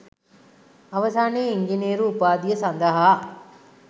අවසානයේ ඉංජිනේරු උපාධිය සඳහා